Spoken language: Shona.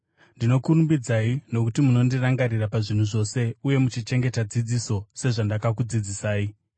Ndinokurumbidzai nokuti munondirangarira pazvinhu zvose, uye muchichengeta dzidziso, sezvandakakudzidzisai.